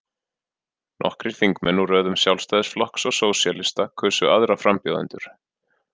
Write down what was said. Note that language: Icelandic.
Nokkrir þingmenn úr röðum Sjálfstæðisflokks og Sósíalista kusu aðra frambjóðendur.